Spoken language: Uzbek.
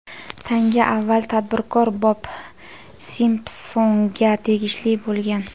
Tanga avval tadbirkor Bob Simpsonga tegishli bo‘lgan.